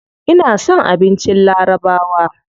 Ina son abincin larabawa.